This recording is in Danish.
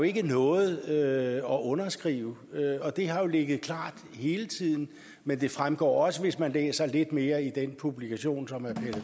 ikke noget at underskrive det har ligget klart hele tiden men det fremgår også hvis man læser lidt mere i den publikation som herre